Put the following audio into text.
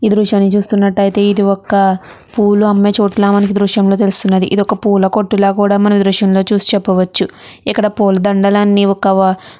ఈ దృశ్యాన్ని చూస్తున్నట్టయితే ఇది ఒక పూలు అమ్మే చోట లాగా మనకి దృశ్యం లో తెలుస్తుంది. ఇది ఒక పూల కొట్టు లాగా మనమీ దృశ్యంలో చెప్పవచ్చు ఇక్కడ పూలదండలు అన్నీ ఒక --